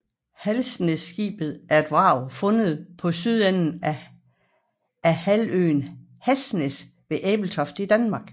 Hasnæsskibet er et vrag fundet på sydenden af halvøen Hasnæs ved Ebeltoft i Danmark